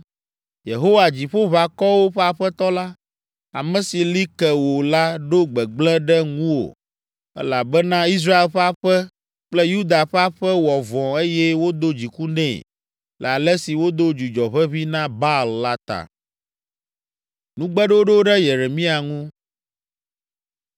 Yehowa Dziƒoʋakɔwo ƒe Aƒetɔ la, ame si li ke wò la ɖo gbegblẽ ɖe ŋuwò elabena Israel ƒe aƒe kple Yuda ƒe aƒe wɔ vɔ̃ eye wodo dziku nɛ le ale si wodo dzudzɔ ʋeʋĩ na Baal la ta.